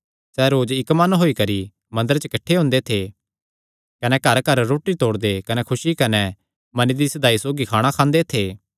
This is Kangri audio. सैह़ रोज इक्क मन होई करी मंदरे च किठ्ठे हुंदे थे कने घरघर रोटी तोड़दे कने खुसी कने मने दी सीधाई सौगी खाणा खांदे थे